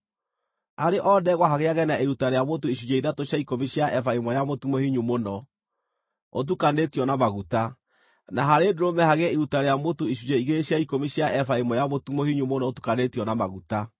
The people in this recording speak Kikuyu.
Harĩ o ndegwa hagĩage na iruta rĩa mũtu icunjĩ ithatũ cia ikũmi cia eba ĩmwe ya mũtu mũhinyu mũno, ũtukanĩtio na maguta; na harĩ ndũrũme hagĩe iruta rĩa mũtu icunjĩ igĩrĩ cia ikũmi cia eba ĩmwe ya mũtu mũhinyu mũno ũtukanĩtio na maguta;